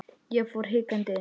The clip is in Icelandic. Ég fór hikandi inn.